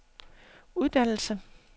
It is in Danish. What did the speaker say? uddannelser